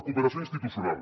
cooperació institucional